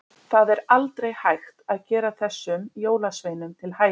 Það er aldrei hægt að gera þessum jólasveinum til hæfis.